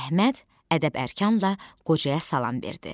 Əhməd ədəb-ərkanla qocaya salam verdi.